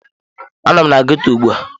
Anọ m na ghetto ugbu a.